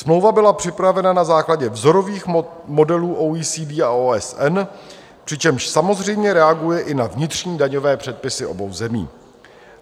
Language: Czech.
Smlouva byla připravena na základě vzorových modelů OECD a OSN, přičemž samozřejmě reaguje i na vnitřní daňové předpisy obou zemí.